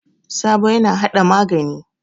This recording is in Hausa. Sabo yana hada magani.